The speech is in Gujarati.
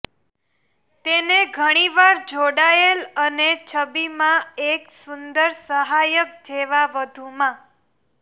તેને ઘણી વાર જોડાયેલ અને છબીમાં એક સુંદર સહાયક જેવા વધુમાં